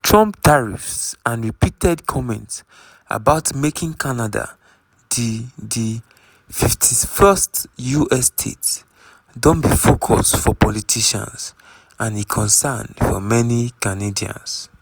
trump tariffs and repeated comments about making canada di di 51st us state don be focus for politicians - and a concern for many canadians.